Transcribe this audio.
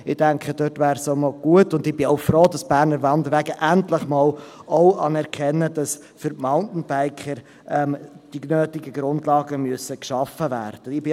Ich denke, es wäre noch gut und ich bin auch froh, dass die Berner Wanderwege endlich einmal auch anerkennen, dass für die Mountainbiker die nötigen Grundlagen geschaffen werden müssen.